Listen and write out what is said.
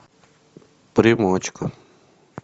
примочка